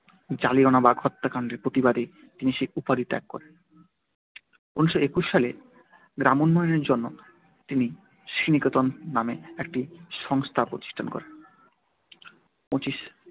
জালিয়ানওয়ালাবাগ হত্যাকাণ্ডের প্রতিবাদে তিনি সেই উপাধি ত্যাগ করেন। ঊনিশশো একুশ সালে গ্রামোন্নয়নের জন্য তিনি শ্রীনিকেতন নামে একটি সংস্থা প্রতিষ্ঠা করেন।